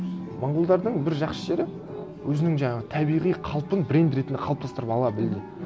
монғолдардың бір жақсы жері өзінің жаңағы табиғи қалпын бренд ретінде қалыптастырып ала білді